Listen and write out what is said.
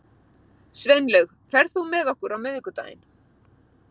Sveinlaug, ferð þú með okkur á miðvikudaginn?